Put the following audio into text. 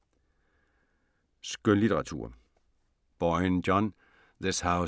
Skønlitteratur